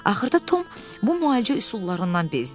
Axırda Tom bu müalicə üsullarından bezdi.